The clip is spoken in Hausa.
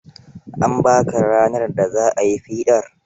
An ba ka ranar da za a yi fiɗar?